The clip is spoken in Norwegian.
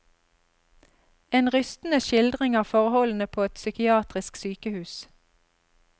En rystende skildring av forholdene på et psykiatrisk sykehus.